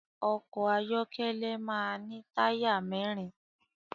Ọkọ ayọkẹlẹ máa ní táyà mẹ́rin